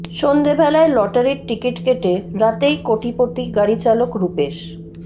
সন্ধেবেলায় লটারির টিকিট কেটে রাতেই কোটিপতি গাড়ি চালক রূপেশ